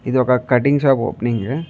ఇది ఒక cutting shop opening --